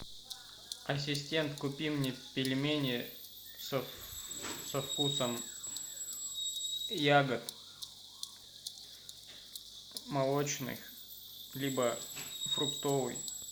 ассистент купи мне пельмени со вкусом ягод молочных либо фруктовый